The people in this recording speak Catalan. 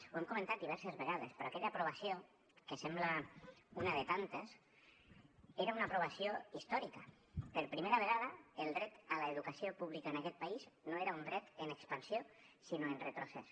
ho hem comentat diverses vegades però aquella aprovació que sembla una de tantes era una aprovació històrica per primera vegada el dret a l’educació púbica en aquest país no era un dret en expansió sinó en retrocés